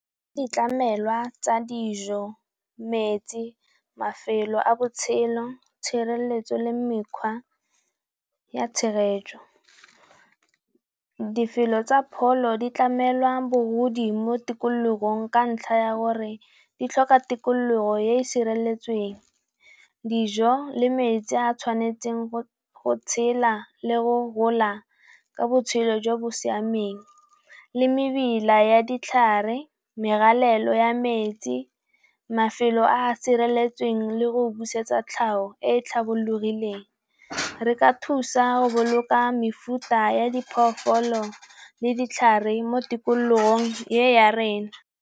Ditlamelwa tsa dijo, mets, i mafelo a botshelo, tshireletso le mekgwa ya tshegetso. Difelo tsa pholo di tlamelwa bogodi mo tikologong ka ntlha ya gore di tlhoka tikologo ya e sireletsweng. Dijo le metsi a tshwanetseng go tshela le go gola ka botshelo jo bo siameng, le mebila ya ditlhare, merwalela ya metsi, mafelo a sireletseng le go busetsa tlhago e e tlhomologileng. Re ka thusa go boloka mefuta ya diphologolo le ditlhare mo tikologong e ya rona.